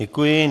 Děkuji.